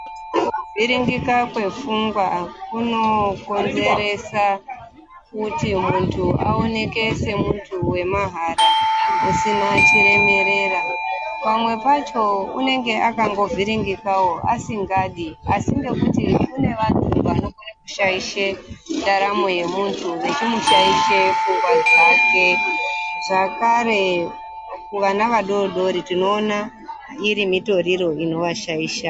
Kuvhiringika kwepfungwa kunokonzeresa kuti muntu aoneke semuntu wemahala usina chiremerera. Pamwe pacho unenge alangovhiringikawo asingadi asi kunewo vantu vanokone kushaisha ndaramo yemuntu vechimushaishe pfungwa dzake zvakare kuvana vadodori tinoona iri mitoriro inovashaisha.